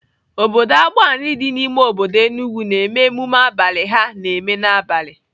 Obodo Agbani dị n'ime obodo Enugwu na-eme emume abalị ha na-eme n'abalị.